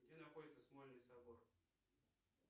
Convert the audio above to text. где находится смольный собор